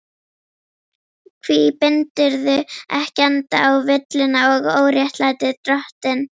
Hví bindurðu ekki enda á villuna og óréttlætið, drottinn?